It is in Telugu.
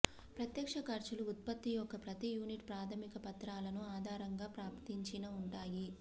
ప్రత్యక్ష ఖర్చులు ఉత్పత్తి యొక్క ప్రతి యూనిట్ ప్రాథమిక పత్రాలను ఆధారంగా ప్రాప్తించిన ఉంటాయి